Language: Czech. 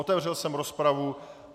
Otevřel jsem rozpravu.